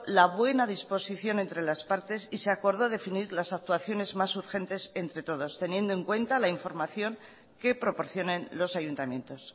la buena disposición entre las partes y se acordó definir las actuaciones más urgentes entre todos teniendo en cuenta la información que proporcionen los ayuntamientos